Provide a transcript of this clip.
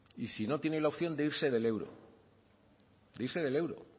y si no tiene la opción de irse del euro irse del euro